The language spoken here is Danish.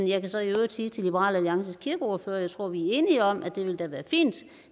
jeg kan så i øvrigt sige til liberal alliances kirkeordfører at jeg tror at vi er enige om at det da ville være fint